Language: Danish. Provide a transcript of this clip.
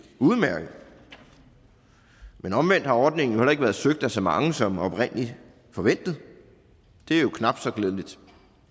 udmærket men omvendt har ordningen heller ikke været søgt af så mange som oprindelig forventet det er jo knap så glædeligt